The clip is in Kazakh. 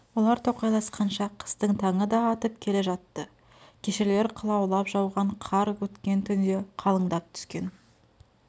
олар тоқайласқанша қыстың таңы да атып келе жатты кешелер қылаулап жауған қар өткен түнде қалындап түскен